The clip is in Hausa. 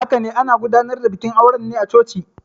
Haka ne, ana gudanar da bikin auren ne a coci.